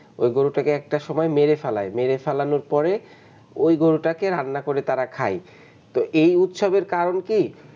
ওই গরুটাকে একটা সময় মেরে ফেলাই, মেরে ফেলানোর পরে, ওই গরুটাকে তাঁরা রান্না করে তারা খায় তো এই উৎসবের কারণ কি?